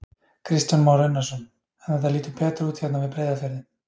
Kristján Már Unnarsson: En þetta lítur betur út hérna við Breiðafjörðinn?